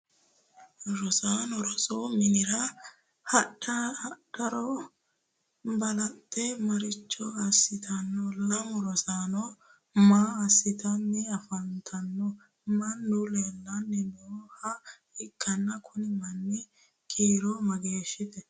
Rosaano rosu minnira hadhuro balaxe maricho asitanno? Lame rosaanno maa asitanni afantano? Mannu leellanni nooha ikanna kunni manni kiiro mageeshiho?